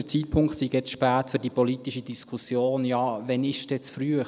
Der Zeitpunkt sei zu spät für die politische Diskussion – ja, wann ist er denn zu früh?